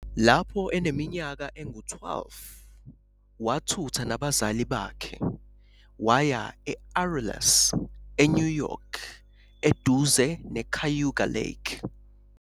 Lapho eneminyaka engu-12 wathutha nabazali bakhe waya e- Aurelius, eNew York eduze neCayuga Lake.